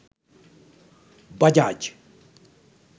bajaj